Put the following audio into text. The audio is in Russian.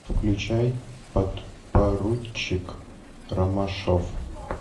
включай подпоручик ромашов